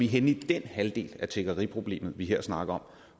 henne i den halvdel af tiggeriproblemet vi her snakker om